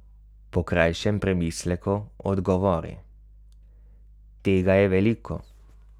Po krajšem premisleku odgovori: 'Tega je veliko.